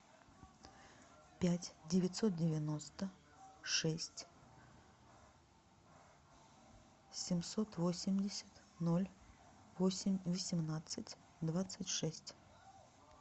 пять девятьсот девяносто шесть семьсот восемьдесят ноль восемь восемнадцать двадцать шесть